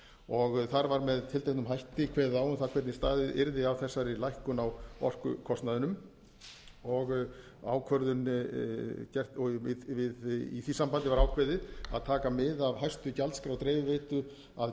og þar var með tilteknum hætti kveðið á um það hvernig staðið yrði að þessari lækkun á orkukostnaðinum og í því sambandi var ákveðið að taka mið af hæstu gjaldskrá dreifiveitu að